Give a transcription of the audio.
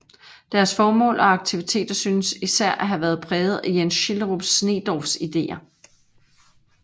Deres formål og aktiviteter synes især at have været præget af Jens Schielderup Sneedorffs ideer